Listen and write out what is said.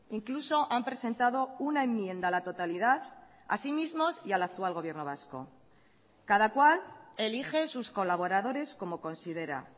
incluso han presentado una enmienda a la totalidad a sí mismos y al actual gobierno vasco cada cual elige sus colaboradores como considera